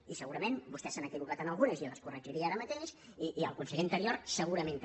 i segurament vostès s’han equivocat en algu·nes i les corregiria ara mateix i el conseller anterior segurament també